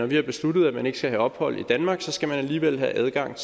vi har besluttet at man ikke skal have ophold i danmark så skal man alligevel have adgang